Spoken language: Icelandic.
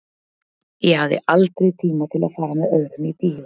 Ég hafði aldrei tíma til að fara með öðrum í bíó.